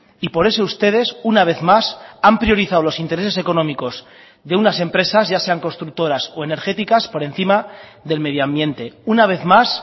y por eso ustedes una vez más han priorizado los intereses económicos de unas empresas ya sean constructoras o energéticas por encima del medio ambiente una vez más